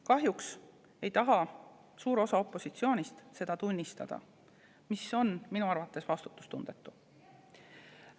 Kahjuks ei taha suur osa opositsioonist seda tunnistada, mis on minu arvates vastutustundetu.